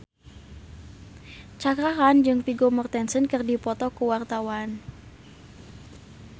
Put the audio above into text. Cakra Khan jeung Vigo Mortensen keur dipoto ku wartawan